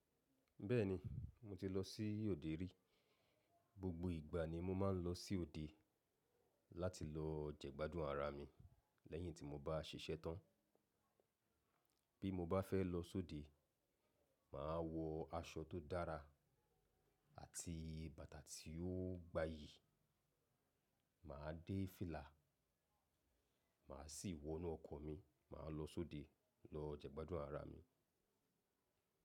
Bẹ́ẹ̀ni mo ti lọ sí òde rí. Gbogbo ìgbà ni mo máa ń lọ sí òde láti lọ jẹ́gbádùn ara mi lẹ́yìn tí mo bá ṣiṣẹ́ tán. Bí mo bá fẹ́ lọ sóde, màá wọ aṣọ tó dára àti bàtà tí ó gbayì. Màá dé fílà, màá sì wọnú ọkọ̀ mi, màá lọ sóde lọ jẹ́gbádùn ara mi.